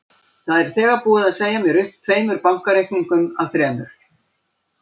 Það er þegar búið að segja mér upp tveimur bankareikningum af þremur.